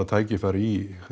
tækifæri í